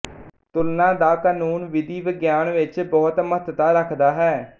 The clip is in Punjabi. ਤੁਲਨਾ ਦਾ ਕਾਨੂੰਨ ਵਿਧੀ ਵਿਗਿਆਨ ਵਿੱਚ ਬਹੁਤ ਮਹੱਤਤਾ ਰੱਖਦਾ ਹੈ